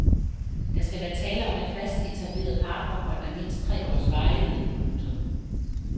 Der skal være tale om et fast etableret parforhold af mindst tre års varighed. punktum